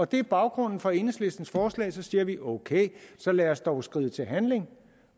det er baggrunden for enhedslistens forslag for så siger vi ok så lad os dog skride til handling